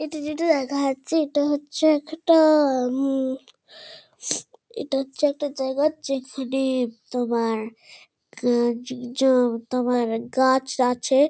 এটা যেটা দেখা যাচ্ছে এটা হচ্ছে একটা-এ উম এটা হচ্ছে একটা জায়গা যেখানে-এ তোমার কানচনজন গাছ আছে।